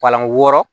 Palan wɔɔrɔ